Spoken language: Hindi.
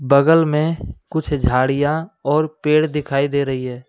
बगल में कुछ झाड़ियां और पेड़ दिखाई दे रही है।